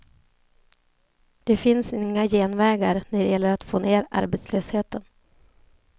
Det finns inga genvägar när det gäller att få ner arbetslösheten.